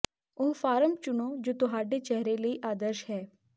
ਉਹ ਫਾਰਮ ਚੁਣੋ ਜੋ ਤੁਹਾਡੇ ਚਿਹਰੇ ਲਈ ਆਦਰਸ਼ ਹੈ